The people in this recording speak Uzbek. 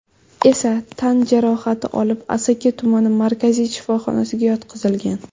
esa tan jarohati olib, Asaka tumani markaziy shifoxonasiga yotqizilgan.